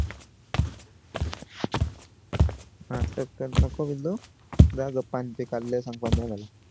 नाटक करू नको पिल्लू जा गप्प पाणी पी